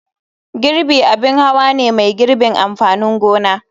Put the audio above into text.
Girbi abin hawa ne mai girbin amfanin gona.